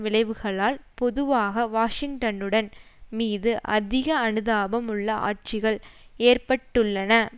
விளைவுகளால் பொதுவாக வாஷிங்டனுடன் மீது அதிக அனுதாபம் உள்ள ஆட்சிகள் ஏற்பட்டுள்ளன